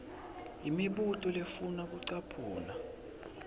imibuto lefuna kucaphuna